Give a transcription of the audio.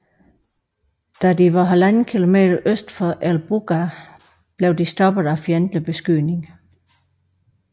Da de var 1½ km øst for El Buqqar blev de stoppet af fjendtlig beskydning